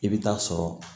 I bɛ taa sɔrɔ